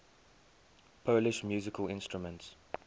polish musical instruments